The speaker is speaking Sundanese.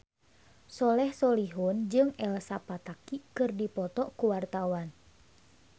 Soleh Solihun jeung Elsa Pataky keur dipoto ku wartawan